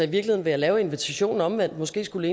vil jeg lave invitationen omvendt måske skulle